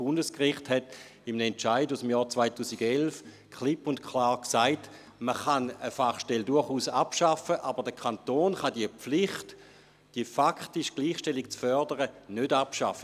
Das Bundesgericht hat in einem Entscheid aus dem Jahr 2011 klipp und klar gesagt, man könne zwar eine Fachstelle durchaus abschaffen, aber der Kanton könne die Pflicht, die faktische Gleichstellung zu fördern, nicht abschaffen.